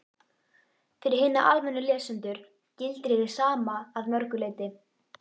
Fyrir hina almennu lesendur gildir hið sama að mörgu leyti.